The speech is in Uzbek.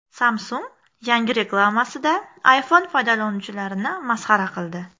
Samsung yangi reklamasida iPhone foydalanuvchilarini masxara qildi .